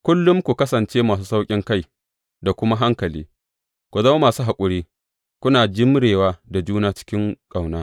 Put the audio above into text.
Kullum ku kasance masu sauƙinkai da kuma hankali; ku zama masu haƙuri, kuna jimrewa da juna cikin ƙauna.